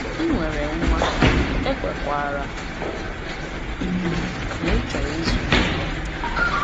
“Ị nwere nwa, ekwerekwara m na ịchọrọ ịzụlite ya.”